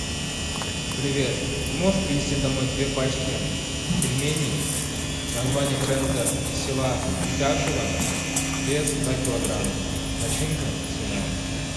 привет можешь привезти домой две пачки пельменей название бренда из села утяшево вес два килограмма начинка свиная